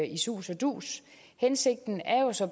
i sus og dus hensigten er jo så